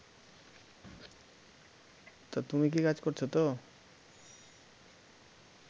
তো তুমি কী কাজ করছ তো